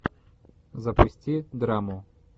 запусти драму